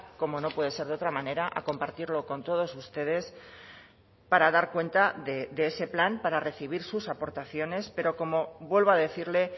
como no puede ser de otra manera a compartirlo con todos ustedes para dar cuenta de ese plan para recibir sus aportaciones pero como vuelvo a decirle